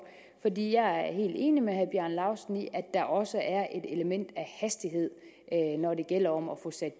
fordi jeg er helt enig med herre bjarne laustsen i at der også er et element af hastighed når det gælder om at få sat